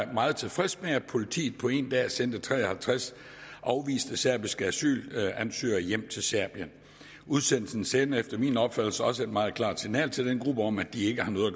meget tilfreds med at politiet på en dag sendte tre og halvtreds afviste serbiske asylansøgere hjem til serbien udsendelsen sender efter min opfattelse også et meget klart signal til denne gruppe om at de ikke har noget at